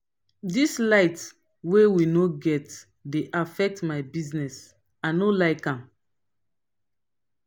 dis light wey we no get dey affect my business i no like am.